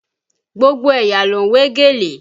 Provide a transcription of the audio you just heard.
Gbogbo ẹ̀yà ló ń wé gèlè